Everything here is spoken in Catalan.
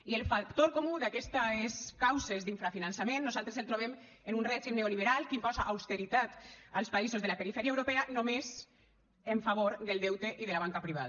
i el factor comú d’aquestes causes d’infrafinançament nosaltres el trobem en un règim neoliberal que imposa austeritat als països de la perifèria europea només en favor del deute i de la banca privada